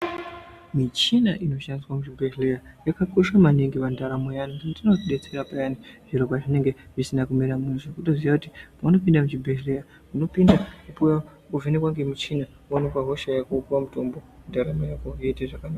Michina inoshandiswa michibhehlera yakakosha maningi pandaramo yeantu inotidetsera peyani zviro pazvinenge zvisina kumira mushe kutoziye kuti paunopinde muchibhehlera unopinda wovhenekwa ngemuchina woonekwa hosha yako wopuwa mutombo ndaramo yako yoita zvakanaka